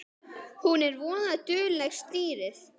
Hún er voða dugleg, stýrið.